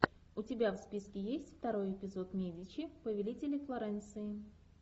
у тебя в списке есть второй эпизод медичи повелители флоренции